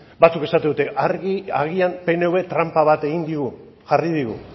batzuk esaten dute agian pnv tranpa bat egin digu jarri digu